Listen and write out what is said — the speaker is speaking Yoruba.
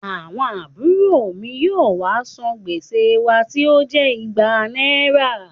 Àwọn àbùrò mi yóò wá san gbèsè wa tí ó jẹ́ igba náírà